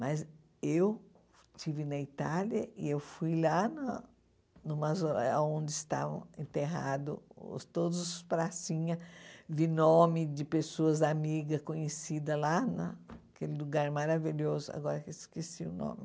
Mas eu estive na Itália e fui lá no no mausoléu onde estavam enterrados todos os pracinha, vi nome de pessoas amigas, conhecidas lá, né aquele lugar maravilhoso, agora esqueci o nome.